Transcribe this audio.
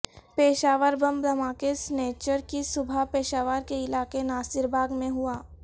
Peshawar bomb دھماکہ سنیچر کی صبح پشاور کے علاقے ناصر باغ میں ہوا